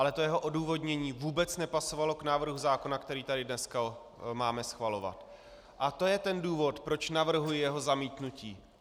Ale to jeho odůvodnění vůbec nepasovalo k návrhu zákona, který tu dnes máme schvalovat, a to je ten důvod, proč navrhuji jeho zamítnutí.